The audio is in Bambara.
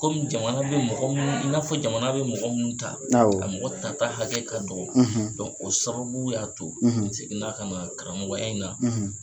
Komi jamana be mɔgɔ munnu i n'a fɔ jamana be mɔgɔ munnu ta, awɔ a mɔgɔ tata hakɛ ka dɔgɔ. o sababu y'a to n seginna kana karamɔgɔya in na.